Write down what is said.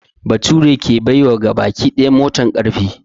Baturi ke bai wa gabaki daya motan ƙarfi